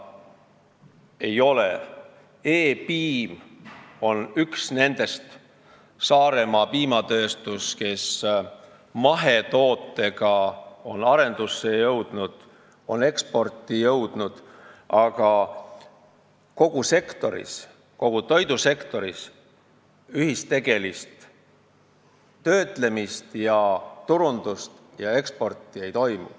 E-Piim on üks nendest eksportijatest ja ka Saaremaa Piimatööstus on mahetoodete arendusega päris kaugele jõudnud, aga kogu toidusektoris kahjuks ühistegevuslikku töötlemist, turundust ega eksporti ei toimu.